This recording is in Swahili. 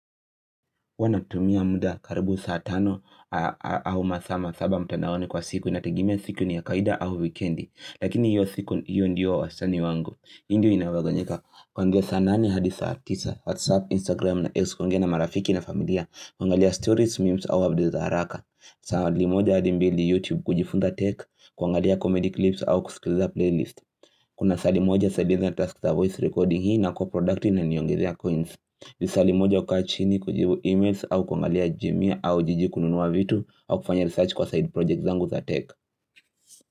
Huwa natumia muda karibu saa tano au masaa masaba mtandaoni kwa siku inategemea siku ni ya kawaida au wikendi lakini hiyo siku hiyo ndiyo wasani wangu hii ndio inaweganyika. Kuanzia saa nane hadi saa tisa whatsapp, instagram na x kuongea na marafiki na familia kuangalia stories, memes au abdeza haraka. Moja hadi mbili youtube kujifunza tech, kuangalia comedy clips au kusikiliza playlist. Kuna side moja side ina task za voice recording hii nakuwa productive inaniongezea coins. Lisaa limoja kukaa chini kujibu emails au kuangalia jumia au jiji kununua vitu au kufanya research kwa side projects zangu za tech.